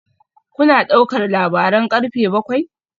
Kuna ɗaukar labaran karfe bakwai?